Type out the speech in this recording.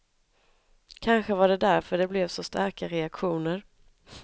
Kanske var det därför det blev så starka reaktioner.